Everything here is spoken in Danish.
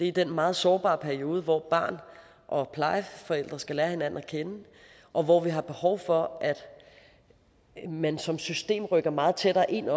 i den meget sårbare periode hvor barn og plejeforældre skal lære hinanden at kende og hvor vi har behov for at man som system rykker meget tættere ind